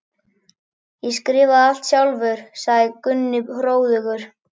Ég skrifaði það allt sjálfur, sagði Gunni hróðugur.